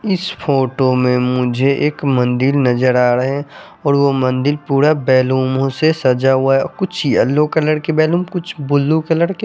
इस फोटो में मुझे एक मदिर नज़र आ रहे है और वो बैलूनो से सजा हुआ है कुछ येल्लो कलर के बैलून और कुछ बुल्लू कलर के --